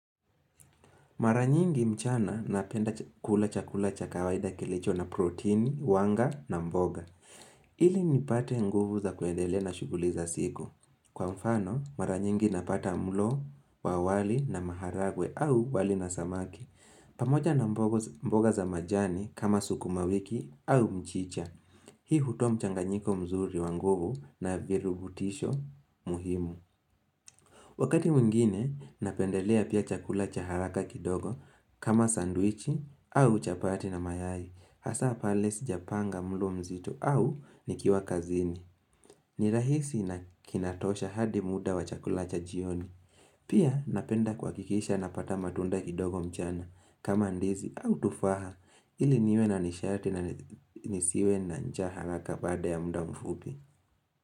Mara nyingi mchana napenda kula chakula cha kawaida kilicho na proteini, wanga na mboga. Ili nipate nguvu za kuendele na shughuli za siku. Kwa mfano, mara nyingi napata mlo wa wali na maharagwe au wali na samaki. Pamoja na mboga za majani kama sukumawiki au mchicha. Hii hutoa mchanganyiko mzuri wa nguvu na virubutisho muhimu. Wakati mwingine, napendelea pia chakula cha haraka kindogo kama sandwichi au chapati na mayai. Hasa pale sijapanga mlo mzito au nikiwa kazini. Nirahisi na kinatosha hadi muda wa chakula cha jioni. Pia napenda kuhakikisha napata matunda kidogo mchana kama ndizi au tufaha ili niwe nanishati na nisiwe na njaa haraka baada ya muda mfupi.